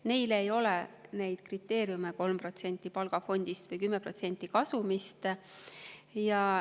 Neile ei ole neid kriteeriume, et 3% palgafondist või 10% kasumist.